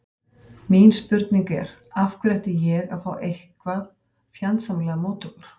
Mín spurning er, af hverju ætti ég að fá eitthvað fjandsamlegar móttökur?